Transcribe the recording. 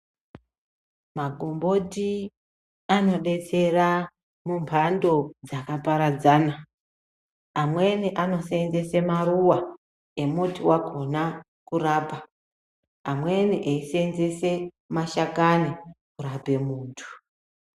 Makomboti anodetsera mumbando dzakaparadzana amweni anosenzese maruwa emuti wakona kurapa amweni eisenzese mashakani kurape muntu.